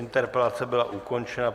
Interpelace byla ukončena.